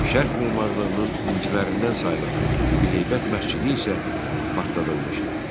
Şərq memarlığının incilərindən sayılan Bibiheybət məscidi isə partladılmışdı.